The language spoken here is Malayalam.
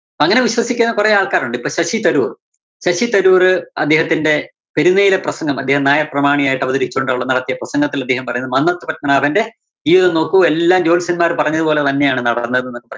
അപ്പോ അങ്ങനെ വിശ്വസിക്കുന്ന കൊറേ ആള്‍ക്കാരുണ്ട്. ഇപ്പോ ശശി തരൂര്‍, ശശി തരൂര് അദ്ദേഹത്തിന്റെ പെരുന്നയിലെ പ്രസംഗം അദ്ദേഹം നായര്‍ പ്രമാണിയായിട്ട് അവതരിച്ചുകൊണ്ട് അവിടെ നടത്തിയ പ്രസംഗത്തില്‍ അദ്ദേഹം പറയുന്നു മന്നത്ത് പദ്മനാഭന്റെ ജീവിതം നോക്കൂ എല്ലാം ജോത്സ്യന്മാര് പറഞ്ഞതു പോലെത്തന്നെയാണ് നടന്നത് എന്ന്.